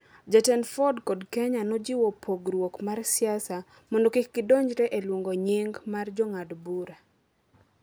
Jatend Ford kod Kenya nojiwo pogruok mar siasa mondo kik gidonjre e luongo nying’ mag jong'ad bura.